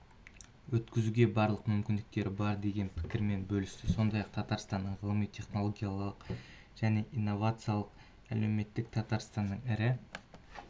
өткізуге барлық мүмкіндіктері бар деген пікірмен бөлісті сондай-ақ татарстанның ғылыми-технологиялық және инновациялық әлеуметтік татарстанның ірі